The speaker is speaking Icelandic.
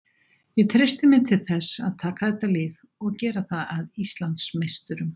Ég treysti mér til þess að taka þetta lið og gera það að Íslandsmeisturum.